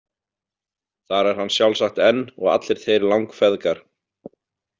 Þar er hann sjálfsagt enn og allir þeir langfeðgar.